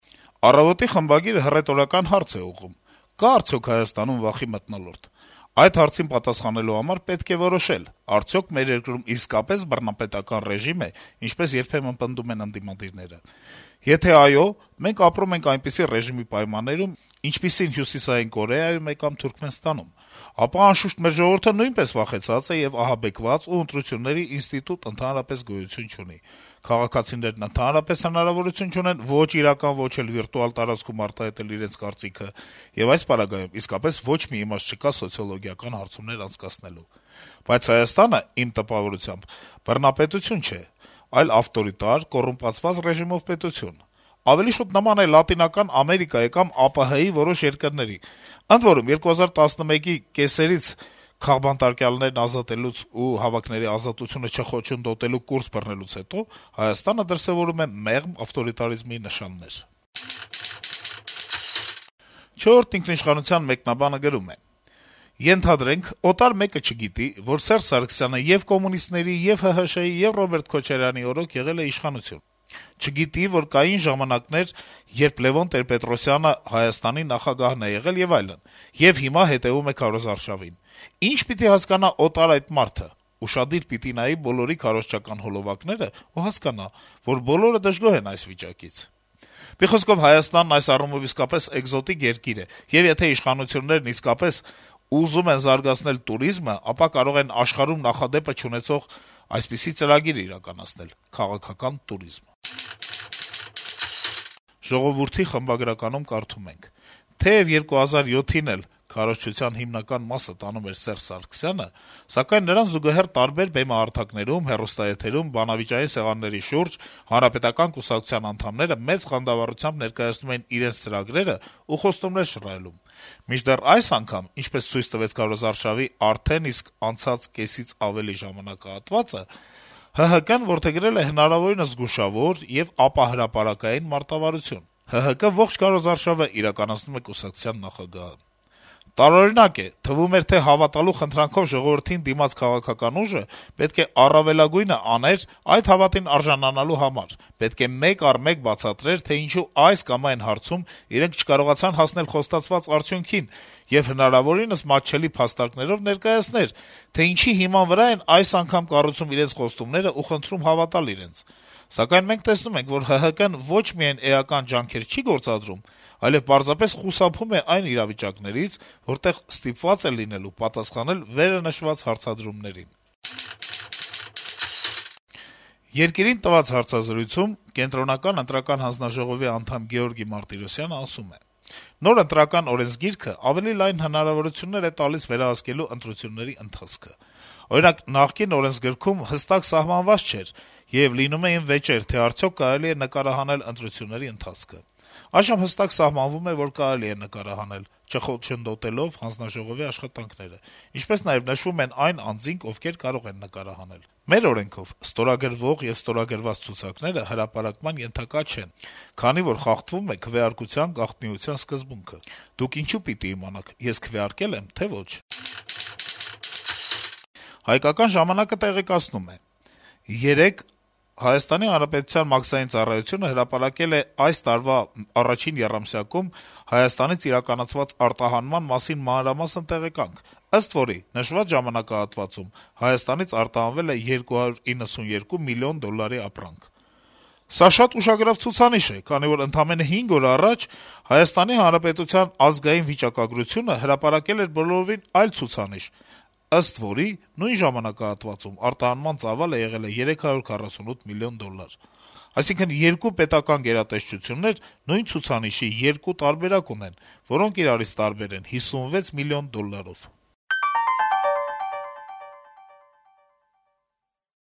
«Առավոտ»-ի խմբագիրը հռետորական հարց է ուղղում` կա՞ արդյոք վախի մթնոլորտ, ու շարունակում. - «Այդ հարցին պատասխանելու համար պետք է որոշել՝ արդյոք մեր երկրում իսկապե՞ս բռնապետական ռեժիմ է, ինչպես երբեմն պնդում են ընդդիմադիրները: Եթե՝ այո, մենք ապրում ենք այնպիսի ռեժիմի պայմաններում, ինչպիսին Հյուսիսային Կորեայում է կամ Թուրքմենստանում, ապա, անշուշտ, մեր ժողովուրդը նույնպես վախեցած է եւ ահաբեկված ու ընտրությունների ինստիտուտ ընդհանրապես գոյություն չունի: Քաղաքացիներն ընդհանրապես հնարավորություն չունեն ո'չ իրական, ո'չ էլ վիրտուալ տարածքում արտահայտել իրենց կարծիքը, եւ այս պարագայում իսկապես ոչ մի իմաստ չկա սոցիոլոգիական հարցումներ անցկացնելու: Բայց Հայաստանը, իմ տպավորությամբ, բռնապետություն չէ, այլ ավտորիտար, կոռումպացված ռեժիմով պետություն: Ավելի շուտ նման է Լատինական Ամերիկայի կամ ԱՊՀ-ի որոշ երկրների: Ընդ որում, 2011թ. կեսերից (քաղբանտարկյալներին ազատելուց եւ հավաքների ազատությունը չխոչընդոտելու կուրս բռնելուց հետո) Հայաստանը դրսեւորում է մեղմ ավտորիտարիզմի նշաններ»: «Չորրորդ ինքնիշխանության» մեկնաբանը գրում է. - «Ենթադրենք` օտար մեկը չգիտի, որ Սերժ Սարգսյանը ե’ւ կոմունիստների, ե'ւ ՀՀՇ-ի, ե'ւ Ռոբերտ Քոչարյանի օրոք եղել է իշխանություն: Չգիտի, որ կային ժամանակներ, երբ Լեւոն Տեր-Պետրոսյանը Հայաստանի նախագահն է եղել եւ այլն, եւ հիմա հետեւում է քարոզարշավին: Ի՞նչ պիտի հասկանա օտար այդ մարդը: Ուշադիր պիտի նայի բոլոր այդ հոլովակները եւ հասկանա, որ բոլորը դժգոհ են այս վիճակից… Մի խոսքով` Հայաստանն այս առումով իսկապես էկզոտիկ երկիր է, եւ եթե իշխանություններն իսկապես ուզում են զարգացնել տուրիզմը, ապա կարող են աշխարհում նախադեպը չունեցող այսպիսի ծրագիր իրականացնել` «քաղաքական տուրիզմ»»: «Ժողովուրդ» թերթի խմբագրականում կարդում ենք. - «Թեեւ 2007-ին էլ քարոզչության հիմնական մասը տանում էր Սերժ Սարգսյանը, սակայն նրան զուգահեռ տարբեր բեմահարթակներում հեռուստաեթերում, բանավիճային սեղանների շուրջ Հանրապետական կուսակցության անդամները մեծ խանդավառությամբ ներկայացնում էին իրենց ծրագրերը ու խոստումներ շռայլում: Մինչդեռ այս անգամ, ինչպես ցույց տվեց քարոզարշավի արդեն իսկ անցած կեսից ավելի ժամանակահատվածը, ՀՀԿ-ն որդեգրել է հնարավորինս զգուշավոր եւ ապահրապարակային մարտավարություն` ՀՀԿ ողջ քարոզարշավը իրականացնում է կուսակցության նախագահը: Տարօրինակ է: Թվում էր, թե հավատալու խնդրանքով ժողովրդին դիմած քաղաքական ուժը պետք է առավելագույնը աներ` այդ հավատին արժանանալու համար: Պետք է մեկ առ մեկ բացատրեր, թե ինչու այս կամ այն հարցում իրենք չկարողացան հասնել խոստացված արդյունքին եւ հնարավորինս մատչելի փաստարկներով ներկայացնել, թե ինչի հիման վրա են այս անգամ կառուցում իրենց խոստումներն ու խնդրում հավատալ իրենց: Սակայն մենք տեսնում ենք, որ ՀՀԿ-ն ոչ միայն էական ջանքեր չի գործադրում, այլեւ պարզապես խուսափում է այն իրավիճակներից, որտեղ ստիպված է լինելու պատասխանել վերը նշված հարցադրումներին»: «Երկիր» օրաթերթի հետ հարցազրույցում Կենտրոնական ընտրական հանձնաժողովի անդամ Գեորգի Մարտիրոսյանն ասում է. - «Նոր Ընտրական օրենսգիրքը ավելի լայն հնարավորություններ է տալիս վերահսկելու ընտրությունների ընթացքը: Օրինակ, նախկին օրենսգրքում հստակ սահմանված չէր եւ լինում էին վեճեր, թե արդյո՞ք կարելի է նկարահանել ընտրությունների ընթացքը: Այժմ հստակ սահմանվում է, որ կարելի է նկարահանել` չխոչընդոտելով հանձնաժողովի աշխատանքները, ինչպես նաեւ նշվում են այն անձինք, ովքեր կարող են նկարահանել: Մեր օրենքով` ստորագրվող եւ ստորագրված ցուցակները հրապարակման ենթակա չեն, քանի որ խախտվում է քվեարկության գաղտնիության սկզբունքը: Դուք ինչո՞ւ պիտի իմանաք` ես քվեարկել եմ, թե ոչ»: «Հայկական ժամանակ»-ը տեղեկացնում է. - «Երեկ ՀՀ մաքսային ծառայությունը հրապարակել է այս տարվա 1-ին եռամսյակում ՀՀ-ից իրականացված արտահանման մասին մանրամասն տեղեկանք, ըստ որի` նշված ժամանակահատվածում ՀՀ-ից արտահանվել է 292 միլիոն դոլարի ապրանք: Սա շատ ուշագրավ ցուցանիշ է, քանի որ ընդամենը 5 օր առաջ ՀՀ ազգային վիճակագրությունը հրապարակել էր բոլորովին այլ ցուցանիշ, ըստ որի` նույն ժամանակահատվածում արտահանման ծավալը եղել է 348 մլն դոլար: Այսինքն, 2 պետական գերատեսչություններ նույն ցուցանիշի 2 տարբերակ ունեն, որոնք իրարից տարբեր են 56 մլն դոլարով»: